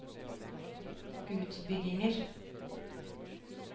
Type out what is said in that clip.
utbygginger